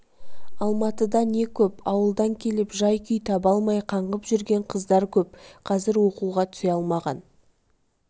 алматыда не көп ауылдан келіп жай-күй таба алмай қаңғып жүрген қыздар көп қаізр оқуға түсе алмаған